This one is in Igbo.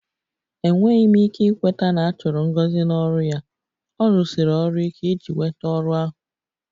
Enweghị m ike ikweta na a chụrụ Ngozi n'ọrụ ya, ọ rụsiri ọrụ ike iji nweta ọrụ ahụ